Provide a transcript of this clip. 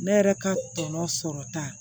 Ne yɛrɛ ka tɔnɔ sɔrɔ ta